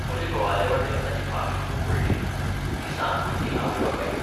म्हजे घोवाले वाटेन ताची फामील खूब व्हडली. तीं सात भुरगीं आवयबापायगेर